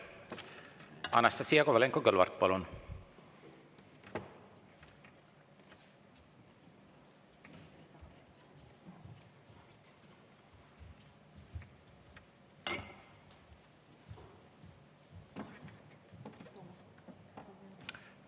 Anastassia Kovalenko-Kõlvart, palun!